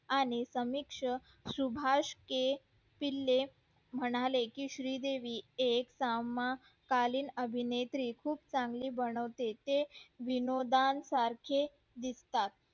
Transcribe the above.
आणि समिक्ष सुभाष के म्हणाले कि श्री देवी एक सामाकालीन अभिनेत्री खूप चांगली बनवते ते विनोदा सारखे दिसतात